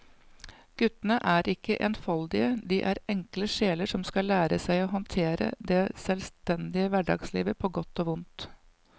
Guttene er ikke enfoldige, de er enkle sjeler som skal lære seg å håndtere det selvstendige hverdagslivet på godt og vondt.